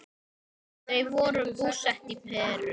Þau voru búsett í Perú.